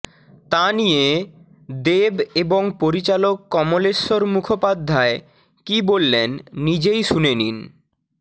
তা নিয়ে দেব এবং পরিচালক কমলেশ্বর মুখোপাধ্যায় কী বললেন নিজেই শুনে নিন